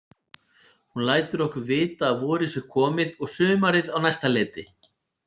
Hún lætur okkur vita að vorið sé komið og sumarið á næsta leiti.